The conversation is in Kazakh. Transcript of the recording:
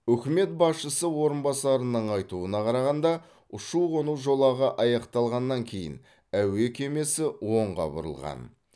үкімет басшысы орынбасарының айтуына қарағанда ұшу қону жолағы аяқталғаннан кейін әуе кемесі оңға бұрылған